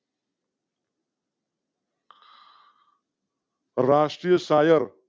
રાષ્ટ્રીય શાયર